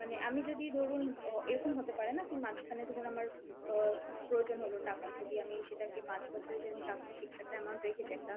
মানে আমি যদি ধরুন অ এরকম হতে পারে না কী মাঝখানে ধরুন আমার অ্যাঁ খুব প্রয়োজন হল টাকার যদি আমি সেটাকে পাঁচ বছরের জন্য টাকাটা fixed একটা amount রেখেছি, একটা